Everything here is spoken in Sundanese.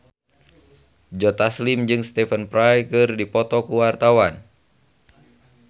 Joe Taslim jeung Stephen Fry keur dipoto ku wartawan